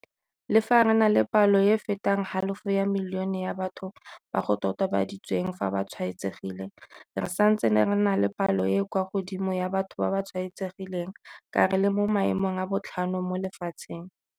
Le fa re na le palo e e fetang halofo ya milione ya batho ba go totobaditsweng fa ba tshwaetsegile, re santse re na le palo e e kwa godimo ya batho ba ba tshwaetsegileng ka re le mo maemong a botlhano mo lefatsheng.